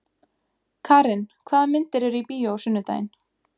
Karin, hvaða myndir eru í bíó á sunnudaginn?